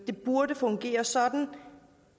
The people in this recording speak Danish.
det burde fungere sådan